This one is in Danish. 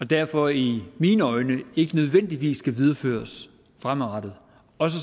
derfor i mine øjne ikke nødvendigvis skal videreføres fremadrettet